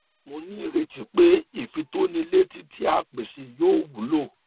mo ní ìrètí pé ìfitónilétí tí a pèsè yóò wúlò